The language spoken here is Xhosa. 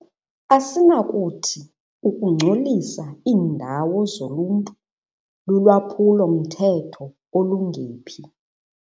Asinakuthi ukungcolisa iindawo zoluntu lulwaphulo-mthetho olungephi.